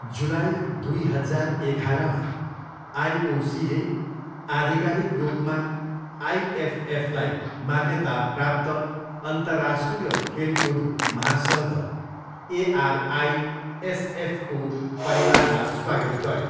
जुलाई दुई हजार एघारमा आइओसीले आधिकारिक रूपमा आइएफएफलाई मान्यता प्राप्त अन्तर्राष्ट्रिय खेलकुद महासङ्घ, एआरआइएसएफको परिवारमा स्वागत गर्यो।